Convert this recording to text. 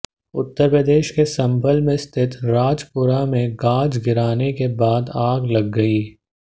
उत्तर प्रदेश के संभल में स्थित राजपुरा में गाज गिरने के बाद आग लग गई